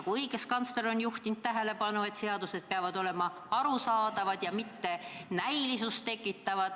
Ka õiguskantsler on juhtinud tähelepanu sellele, et seadused peavad olema arusaadavad ega tohi näilisust tekitada.